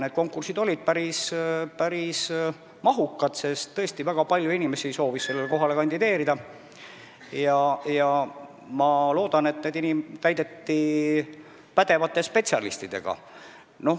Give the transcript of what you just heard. Need konkursid olid päris mahukad, sest väga palju inimesi soovis nendele kohtadele kandideerida, ja ma loodan, et need täideti pädevate spetsialistidega.